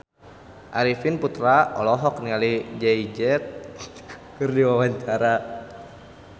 Arifin Putra olohok ningali Jay Z keur diwawancara